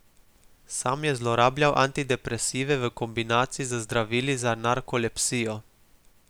Sam je zlorabljal antidepresive v kombinaciji z zdravili za narkolepsijo.